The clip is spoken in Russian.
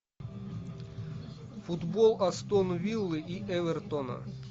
футбол астон виллы и эвертона